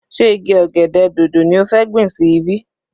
Sé igi ọ̀gẹ̀dẹ̀ dòdò ni ó fẹ́ gbìn sí ibí?